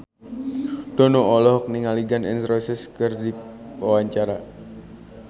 Dono olohok ningali Gun N Roses keur diwawancara